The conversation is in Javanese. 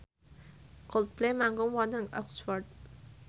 Coldplay manggung wonten Oxford